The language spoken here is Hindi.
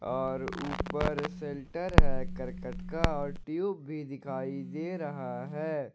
और ऊपर शेल्टर है करकट का और ट्यूब भी दिखाई दे रहा है।